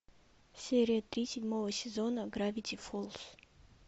серия три седьмого сезона гравити фолз